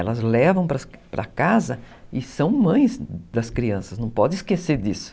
Elas levam para casa e são mães das crianças, não pode esquecer disso.